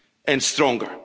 and stronger.